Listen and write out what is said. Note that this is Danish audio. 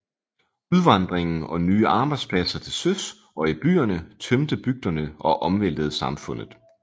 Udvandringen og nye arbejdspladser til søs og i byerne tømte bygderne og omvæltede samfundet